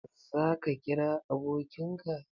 Za ka kira abokin ka?